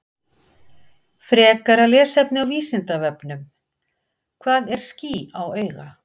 Frekara lesefni á Vísindavefnum: Hvað er ský á auga?